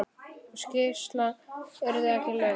Sú skýrsla yrði ekki löng.